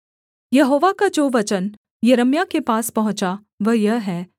यहोवा का जो वचन यिर्मयाह के पास पहुँचा वह यह है